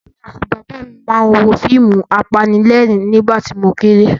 Èmi àti Bàbá mi máa ń wo àwọn fíìmù apanílẹ̀rín nígbà tí mo kéré.